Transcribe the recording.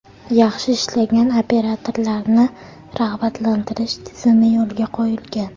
Yaxshi ishlagan operatorlarni rag‘batlantirish tizimi yo‘lga qo‘yilgan.